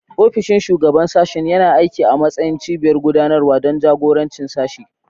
Ofishin Shugaban Sashen yana aiki a matsayin cibiyar gudanarwa don jagorancin sashe.